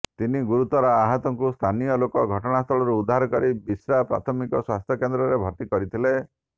ତିନି ଗୁରୁତର ଆହତଙ୍କୁ ସ୍ଥାନୀୟ ଲୋକ ଘଟଣାସ୍ଥଳରୁ ଉଦ୍ଧାର କରି ବିଶ୍ରା ପ୍ରାଥମିକ ସ୍ବାସ୍ଥ୍ୟ କେନ୍ଦ୍ରରେ ଭର୍ତ୍ତି କରିଥିଲେ